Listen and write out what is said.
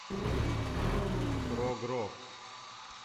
прог рок